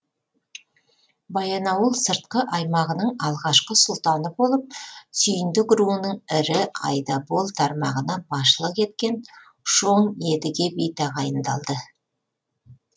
баянауыл сыртқы аймағының алғашқы сұлтаны болып сүйіндік руының ірі айдабол тармағына басшылық еткен шоң едге би тағайындалды